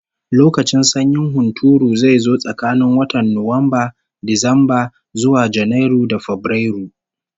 Lokacin sanyin hunturu zai zo tsakanin watan Nuwamba, Disamba, zuwa Janairu da Fabrairu